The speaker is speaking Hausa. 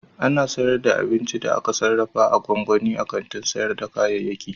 Ana sayar da abincin da aka sarrafa na gwangwani a kantin sayar da kayayyaki.